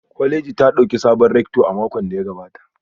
Kwaleji ta dauki sabon rector a makon da ya gabata